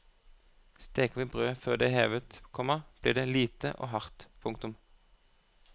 Steker vi brødet før det er hevet, komma blir det lite og hardt. punktum